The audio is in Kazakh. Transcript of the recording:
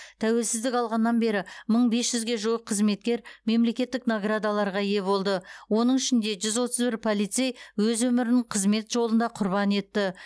тәуелсіздік алғаннан бері мың бес жүзге жуық қызметкер мемлекеттік наградаларға ие болды оның ішінде жүз отыз бір полицей өз өмірін қызмет жолында құрбан етті